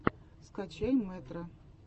скачай мэтро